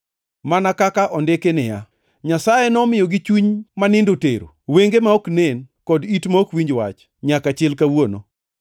mana kaka ondiki niya, “Nyasaye nomiyogi chuny ma nindo tero, wenge ma ok nen, kod it ma ok winj wach, nyaka chil kawuono.” + 11:8 \+xt Rap 29:4; Isa 29:10\+xt*